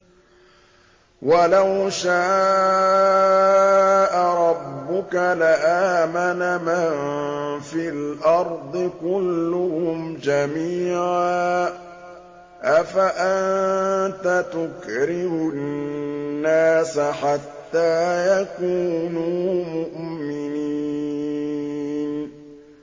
وَلَوْ شَاءَ رَبُّكَ لَآمَنَ مَن فِي الْأَرْضِ كُلُّهُمْ جَمِيعًا ۚ أَفَأَنتَ تُكْرِهُ النَّاسَ حَتَّىٰ يَكُونُوا مُؤْمِنِينَ